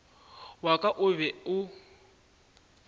wa ka o be o